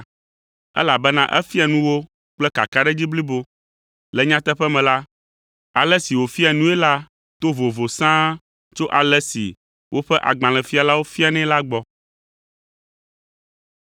elabena efia nu wo kple kakaɖedzi blibo. Le nyateƒe me la, ale si wòfia nui la to vovo sãa tso ale si woƒe agbalẽfialawo fianɛ la gbɔ.